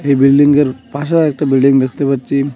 বিল্ডিংয়ের পাশেও একটা বিল্ডিং দেখতে পাচ্ছি।